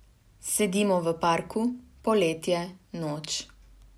Sedimo v parku, poletje, noč.